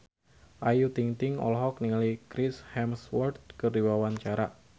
Ayu Ting-ting olohok ningali Chris Hemsworth keur diwawancara